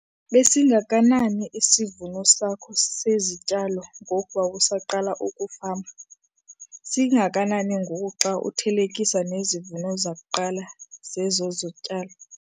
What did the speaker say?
Besingakanani isivuno sakho sezityalo ngoko wawusaqala ukufama? Singakanani ngoku xa uthelekisa nezivuno zakuqala zezo zityalo?